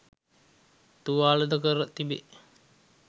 තුවාල ද කර තිබේ